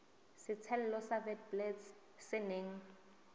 setshelo sa witblits se neng